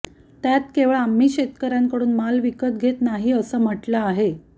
त्यात केवळ आम्ही शेतकऱ्यांकडून माल विकास घेत नाही असं म्हटलं आहे